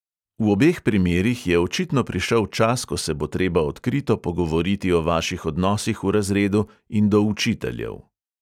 V obeh primerih je očitno prišel čas, ko se bo treba odkrito pogovoriti o vaših odnosih v razredu in do učiteljev.